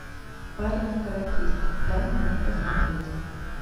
парень каратист дай мне посмотреть